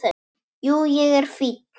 Jú, ég er fínn.